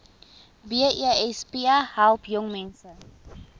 besp help jongmense